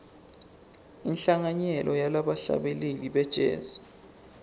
inhlanganyelo yebahlabeleli be jazz